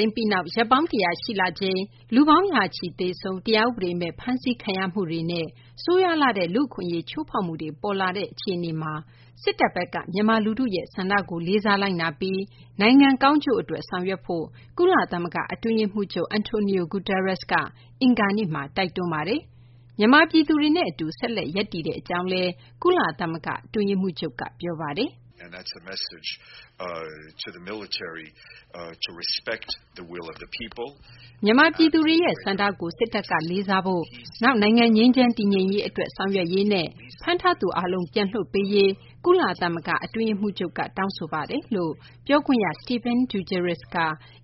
ိမ်းပြီးနောက် ရက်ပေါင်း ၁၀၀ ရှိလာချိန်မှာ လူပေါင်း ရာချီ သေဆုံး၊ တရားဥပဒေမဲ့ ဖမ်းဆီးခံရမှုတွေနဲ့ ဆိုးရွားလှတဲ့ လူ့အခွင့်အရေး ချိုးဖောက်မှုတွေ ပေါ်လာတဲ့ အခြေအနေမှာ စစ်တပ်ဘက်က မြန်မာ လူထုရဲ့ ဆန္ဒကို လေးစားလိုက်နာပြီး နိုင်ငံ ကောင်းကျိုးအတွက် ဆောင်ရွက်ဖို့ ကုလသမဂ္ဂ အတွင်းရေးမှူးချုပ် Antonio Guterres က အင်္ဂါနေ့မှာ တိုက်တွန်းပါတယ်။ မြန်မာ ပြည်သူတွေနဲ့ အတူ ဆက်လက် ရပ်တည်မယ့် အကြောင်းလည်း ကုလသမဂ္ဂ အတွင်းရေးမှူးချုပ်က ပြောဆိုထားပါတယ်။ "မြန်မာ ပြည်သူတွေရဲ့ ဆန္ဒကို စစ်တပ်က လေးစားဖိ့ု၊ နောက် နိုင်ငံ ငြိမ်းချမ်းတည်ငြိမ်ရေးအတွက် ဆောင်ရွက်ရေးနဲ့ ဖမ်းထားသူ အားလုံး ပြန်လွှတ်ပေးရေးကိုလည်း ကုလသမဂ္ဂ အတွင်းရေးမှူးချုပ်က တောင်းဆိုကြောင်း" ပြောခွင့်ရ Stephane Dujarric က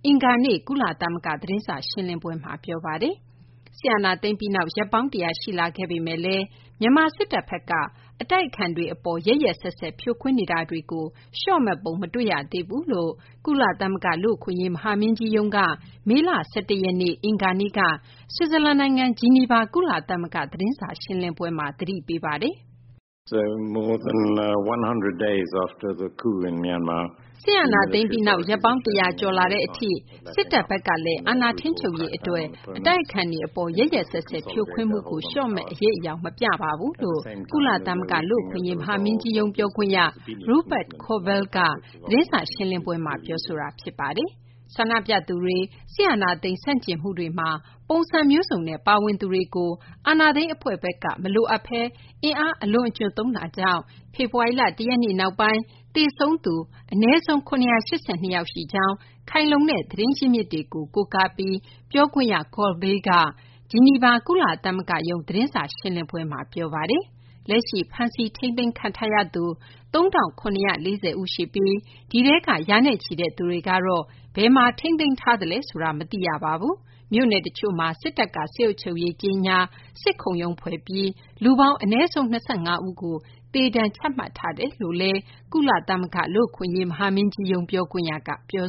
အင်္ဂါနေ့ ကုလသမဂ္ဂ သတင်းစာ ရှင်းလင်းပွဲမှာ ပြောဆိုခဲ့ပါတယ်။ စစ်အာဏာသိမ်းပြီးနောက် ရက်ပေါင်း ၁၀၀ ရှိလာခဲ့ပေမယ့်လည်း မြန်မာ စစ်တပ်ဘက်က အတိုက်အခံတွေ အပေါ် ရက်ရက်စက်စက် ဖြိုခွင်းနေတာတွေကို လျှော့မယ့်ပုံ မတွေ့ရသေးကြောင်းလည်း ကုလသမဂ္ဂ လူ့အခွင့်အရေး မဟာမင်းကြီးရုံးက မေလ ၁၁ ရက်နေ့ အင်္ဂါနေ့က ဆွစ်ဇာလန် နိုင်ငံ ဂျီနီဗာက ကုလသမဂ္ဂ သတင်းစာရှင်းလင်းပွဲမှာ သတိပေးထားပါတယ်။ "စစ်အာဏာသိမ်းပြီးနောက် ရက်ပေါင်း ၁၀၀ ကျော်လာတဲ့ အထိ စစ်တပ်ဘက်ကလည်း အာဏာထိန်းချုပ်နိုင်ရေး အတွက် အတိုက်အခံတွေ အပေါ် ရက်ရက်စက်စက် ဖြိုခွင်းမှုကို လျှော့မယ့် အရိပ်အယောင် မပြပါဘူးလို့ ကုလသမဂ္ဂ လူ့အခွင့်အရေး မဟာမင်းကြီးရုံး ပြောခွင့်ရ Rupert Colville က သတင်းစာ ရှင်းလင်းပွဲမှာ ပြောခဲ့ပါတယ်။ ဆန္ဒပြသူတွေ၊ စစ်အာဏာသိမ်း ဆန့်ကျင်မှုတွေမှာ ပုံစံမျိုးစံနဲ့ ပါဝင်သူတွေကို အာဏာသိမ်း အဖွဲ့ဘက်က မလိုအပ်ဘဲ အင်အား အလွန်အကျွံသုံးတာကြောင့် ဖေဖော်ဝါရီ ၁ ရက်နေ့ နောက်ပိုင်း သေဆုံးသူ အနည်းဆုံး ၇၈၂ ယောက် ရှိကြောင်း ခိုင်မာတဲ့ သတင်းရင်းမြစ်တွေကို ကိုးကားပြီး ပြောခွင့်ရ Colville က ဂျီနီဗာ ကုလသမဂ္ဂရုံး သတင်းစာ ရှင်းလင်းပွဲမှာ ပြောပါတယ်။ လက်ရှိ ဖမ်းဆီးထိန်းသိမ်းထားသူ ၃၇၄၀ ဦးရှိပြီး ဒီထဲက ရာနဲ့ချီတဲ့ သူတွေကတော့ ဘယ်မှာ ထိန်းသိမ်းထားသလဲ ဆိုတာ မသိရပါဘူး။ မြို့နယ် တချို့မှာ စစ်တပ်က စစ်အုပ်ချုပ်ရေး ကြေညာ စစ်ခုံရုံး ဖွဲ့ထားပြီး လူပေါင်း အနည်းဆုံး ၂၅ ဦးကို သေဒဏ်ချထားတယ်လို့လည်း ကုလသမဂ္ဂ လူ့အခွင့်အရေး မဟာမင်းကြီးရုံး ပြောခွင့်ရက ပြော